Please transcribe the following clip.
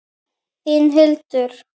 Þín Hildur.